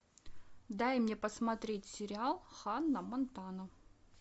дай мне посмотреть сериал ханна монтана